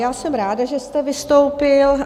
Já jsem ráda, že jste vystoupil.